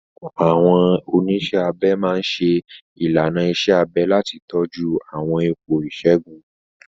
Àwọn oníṣẹ́ abẹ máa ń ṣe ìlànà iṣẹ́ abẹ láti tọ́jú àwọn ipò ìṣègùn.